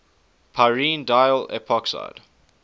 pyrene diol epoxide